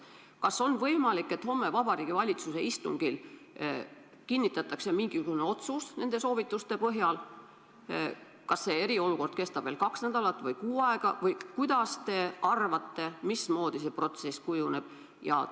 Kas on võimalik, et homme Vabariigi Valitsuse istungil kinnitatakse nende soovituste põhjal mingisugune otsus, kas see eriolukord kestab veel kaks nädalat või kuu aega, või kuidas te arvate, mismoodi see protsess kujuneb?